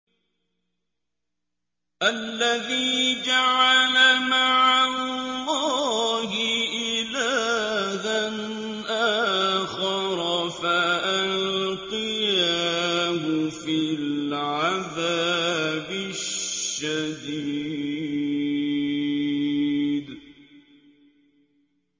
الَّذِي جَعَلَ مَعَ اللَّهِ إِلَٰهًا آخَرَ فَأَلْقِيَاهُ فِي الْعَذَابِ الشَّدِيدِ